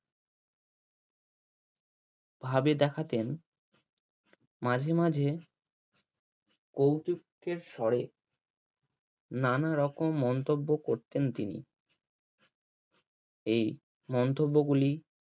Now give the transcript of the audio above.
ভাবে দেখাতেন মাঝে মাঝে স্বরে নানা রকম মন্তব্য করতেন তিনি এই মন্তব্য গুলি